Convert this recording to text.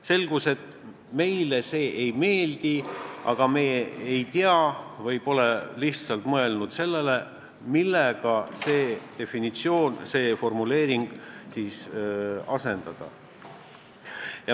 Selgus, et meile see formuleering ei meeldi, aga me ei tea või pole lihtsalt mõelnud sellele, millega seda asendada.